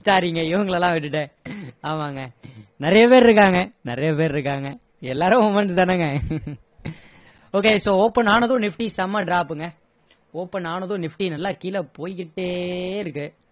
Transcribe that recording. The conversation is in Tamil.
sorry ங்க இவங்கள எல்லாம் விட்டுட்டேன் ஆமாங்க நிறைய பேரு இருக்காங்க நிறைய பேரு இருக்காங்க எல்லாரும் womens தானேங்க okay so open ஆனதும் nifty செம்ம drop ங்க open ஆனதும் nifty நல்லா கீழ போய்கிட்டே இருக்கு